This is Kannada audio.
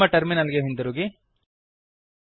ನಮ್ಮ ಟರ್ಮಿನಲ್ ಗೆ ಹಿಂದಿರುಗಿರಿ